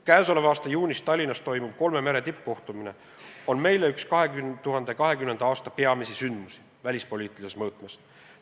Käesoleva aasta juunis Tallinnas toimuv kolme mere tippkohtumine on meile üks 2020. aasta peamisi sündmusi välispoliitilises mõõtmes.